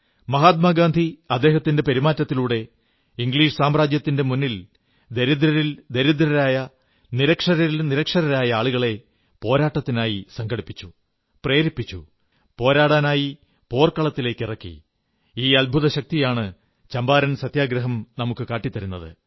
മഹാത്മാ ഗാന്ധി അദ്ദേഹത്തിന്റെ പെരുമാറ്റത്തിലൂടെ ഇംഗ്ലീഷ് സാമ്രാജ്യത്തിന്റെ മുന്നിൽ ദരിദ്രരിൽ ദരിദ്രരായ നിരക്ഷരരിൽ നിരക്ഷരരായ ആളുകളെ പോരാട്ടത്തിനായി സംഘടിപ്പിച്ചു പ്രേരിപ്പിച്ചു പോരാടാനായി പോർക്കളത്തിലിറക്കി ഈ അദ്ഭുത ശക്തിയാണ് ചമ്പാരൻ സത്യഗ്രഹം നമുക്കു കാട്ടിത്തരുന്നത്